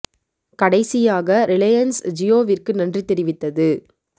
கடைசியாக ரிலையன்ஸ் ஜியோவிற்கு நன்றி தெரிவித்தது